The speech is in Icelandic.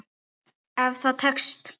Ef það þá tekst.